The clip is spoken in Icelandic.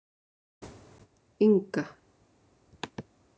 Inga